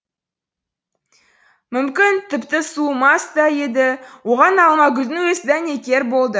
мүмкін тіпті суымас та еді оған алмагүлдің өзі дәнекер болды